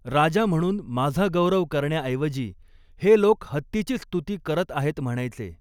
राजा म्हणून माझा गौरव करण्याऐवजी हे लोक हत्तीचीच स्तुती करत आहेत म्हणायचे!